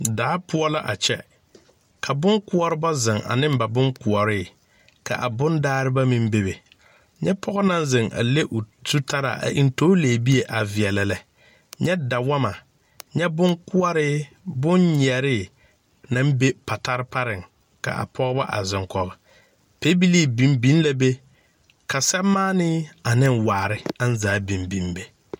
Daa poɔ la a kyɛ ka bonkoɔrebɔ zeŋ aneŋ ba bonkoɔree ka a bondaareba meŋ bebe nyɛ pɔge naŋ zeŋ a le o zutaraa a eŋ toori lɛɛbie a veɛlɛ lɛ nyɛ da wɔmmɔ bonkoɔree bonnyɛɛree naŋ be patare pareŋ kaa pɔɔbɔ a zeŋ kɔge pɛbilii biŋ biŋ la be ka sɛmaanee aneŋ waare aŋ zaa biŋ biŋ be.